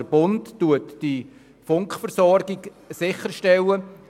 Der Bund stellt die Funkversorgung sicher;